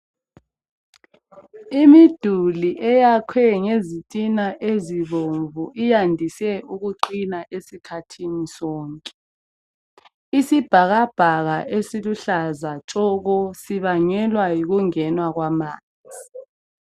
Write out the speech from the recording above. Imiduli eyakhwe ngezitina ezibomvu iyandise ukuqina esikhathini sonke, isibhakabhaka esiluhlaza tshoko sibangelwa yikungenwa kwamanzi.